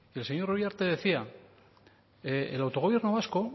el señor uriarte decía el autogobierno vasco